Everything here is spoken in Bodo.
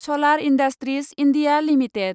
solar industries India limited